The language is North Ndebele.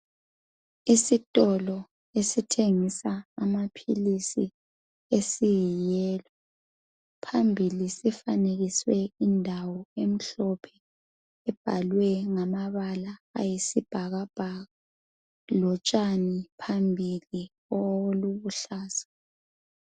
Isitolo esithengisa amaphilisi esiyiyelo. Phambili sifanekiswe indawo emhlophe ebhalwe ngamabala ayisibhakabhaka. Lotshani phambili olubuhlaza.